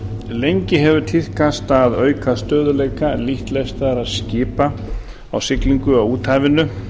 lengi hefur tíðkast að auka stöðugleika lítt lestaðra skipa á siglingu á úthafinu